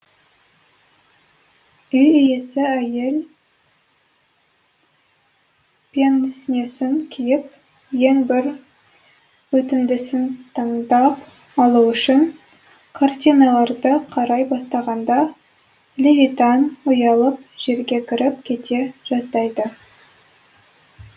үй иесі әйел пенснесін киіп ең бір өтімдісін таңдап алу үшін картиналарды қарай бастағанда левитан ұялып жерге кіріп кете жаздайды